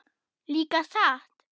Líka satt?